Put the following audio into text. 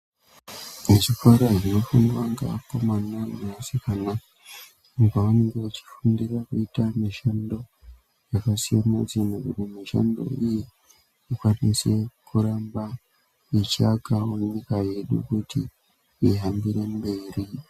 Muzvikora zvinofundwa ngeakomna ngeasikana pavanenge vechifundira veite mishando yakasiyana siyana kuti mishando iyi ikwanise kuramba yechiakawo nyika yedu kuti ihambire mberi.